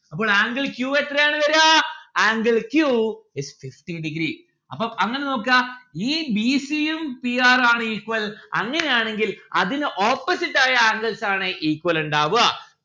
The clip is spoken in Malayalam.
അപ്പോൾ angle q എത്രയാണ് വേരാ angle q is fifty degree അപ്പം അങ്ങനെ നോക്കാ ഈ b c യും p r are equal അങ്ങനെ ആണെങ്കിൽ അതിന് opposite ആയ angles ആണ് equal ഇണ്ടാവുക